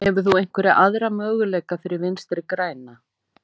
Hefur þú einhverja aðra möguleika fyrir Vinstri græna?